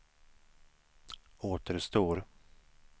återstår